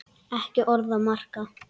Ekki orð að marka.